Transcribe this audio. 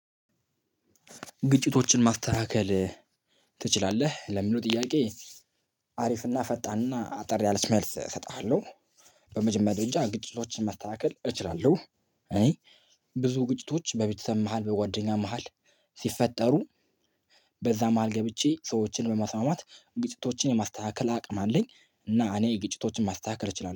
ግጭቶችን ማስተካከል ትችላለህ ለሚለው ጥያቄ? አሪፍና ፈጣንና እና አጠር ያለች መልስ እሰጥሃለሁ። በመጀመሪያ ደጃ ግጭቶችን ማስተካከል እችላለሁ። እኔ ብዙ ግጭቶች በቤተሰብ መሃል በጓደኛ መሃል ሲፈጠሩ። በዛ መሃል ገብቼ ሰዎችን በማስማማት ግጭቶችን የማስተካከል አቅም አለኝ። እና እኔ ግጭቶችን ማስተካከል እችላለሁ